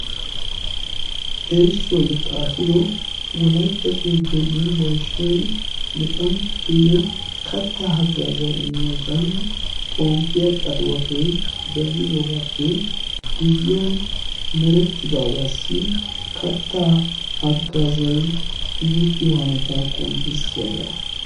erissuwaayyo xaafido wolaytta soddo yunborshshiyan luxanchchatuyyo kattaa haggaazay imiyoosan xomppiyaa qatiwatoy denddidoogaappe guyyiyan merettidaagaassi kattaa haggaazay imettiyo hanotaa qonccissiyaagaa